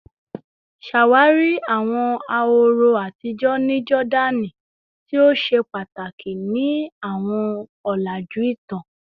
Ṣawari awọn ahoro atijọ ni Jordani ti o ṣe pataki ni awọn ọlaju itan